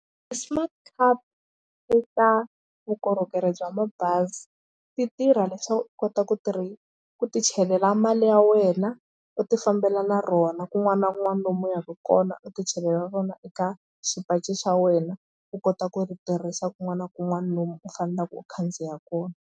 Ti-smart card i ta vukorhokeri bya mabazi ti tirha leswaku u kota ku ku tichelela mali ya wena u tifambela na rona kun'wana na kun'wana lomu u yaka kona u tichelela rona eka xipachi xa wena u kota ku ri tirhisa kun'wana na kun'wana lomu u faneleke u khandziya kona.